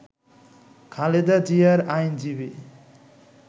খালেদা জিয়ার আইনজীবী